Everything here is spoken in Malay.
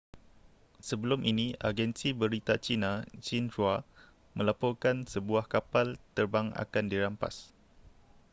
sebelum ini agensi berita cina xinhua melaporkan sebuah kapal terbang akan dirampas